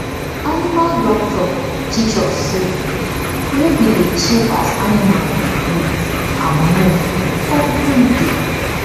animal doctor teach us say make we dey check as animal dey breath and move every day